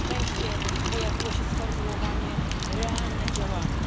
Na szczęście pojawiło się sformułowanie realne działania.